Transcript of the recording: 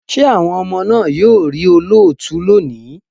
Ṣé àwọn ọmọ náà yóò rí olóòtú lónìí?